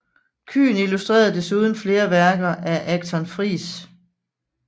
Kyhn illustrerede desuden flere værker af Achton Friis